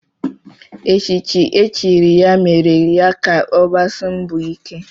Echichi e chiri ya mere ya ka ọgbasia mbọ ike